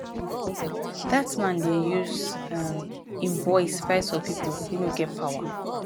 dat man dey use um im voice fight for pipo wey no get power